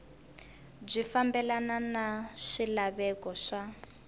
byi fambelana na swilaveko swa